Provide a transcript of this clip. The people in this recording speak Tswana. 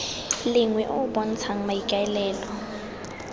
lengwe o o bontshang maikaelelo